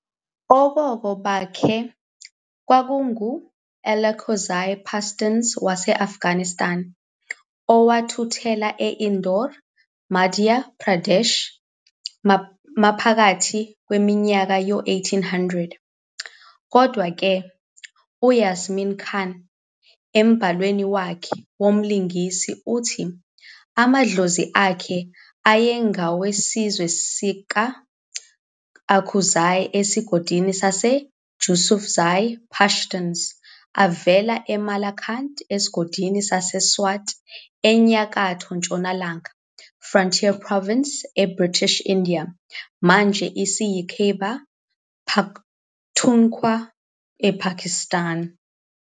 Okhokho bakhe kwakungu-Alakozai Pastuns wase-Afghanistan owathuthela e-Indore, eMadhya Pradesh maphakathi kweminyaka yo-1800s, Kodwa-ke, uJasim Khan embhalweni wakhe womlingisi uthi amadlozi akhe ayengowesizwe sakwa-Akuzai esigodini saseJusufzai Pashtuns avela eMalakand esigodini saseSwat eNyakatho Ntshonalanga Frontier Province eBritish India, manje eseKhyber Pakhtunkhwa, ePakistan.